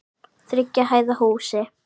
Þriggja hæða húsi.